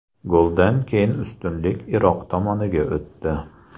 Goldan keyin ustunlik Iroq tomoniga o‘tdi.